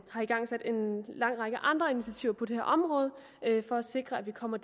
igangsat en lang række andre initiativer på det her område for at sikre at vi kommer